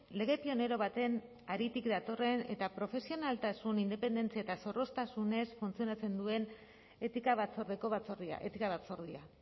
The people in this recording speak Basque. lege pionero baten haritik datorren eta profesionaltasun independentzia eta zorroztasunez funtzionatzen duen etika batzordeko batzordea etika batzordea